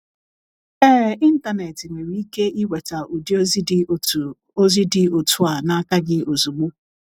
Ee, Ịntanet nwere ike iweta ụdị ozi dị otu ozi dị otu a n’aka gị ozugbo.